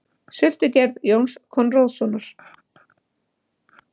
Sultugerð Jóns Konráðssonar.